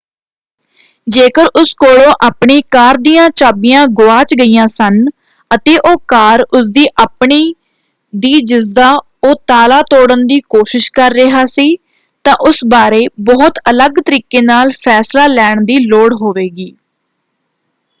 ਜੇਕਰ ਉਸ ਕੋਲੋਂ ਆਪਣੀਆਂ ਕਾਰ ਦੀਆਂ ਚਾਬੀਆਂ ਗੁਆਚ ਗਈਆਂ ਸਨ ਅਤੇ ਉਹ ਕਾਰ ਉਸ ਦੀ ਆਪਣੀ ਦੀ ਜਿਸਦਾ ਉਹ ਤਾਲਾ ਤੋੜ੍ਹਨ ਦੀ ਕੋਸ਼ਿਸ਼ ਕਰ ਰਿਹਾ ਸੀ ਤਾਂ ਉਸ ਬਾਰੇ ਬਹੁਤ ਅਲੱਗ ਤਰੀਕੇ ਨਾਲ ਫ਼ੈਸਲਾ ਲੈਣ ਦੀ ਲੋੜ ਹੋਵੇਗੀ।